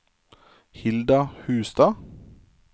Hilda Hustad